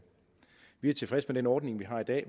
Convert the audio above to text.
vi er tilfreds med den ordning vi har i dag